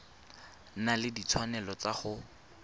na le ditshwanelo tsa go